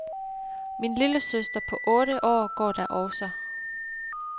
Min lillesøster på otte år går der også.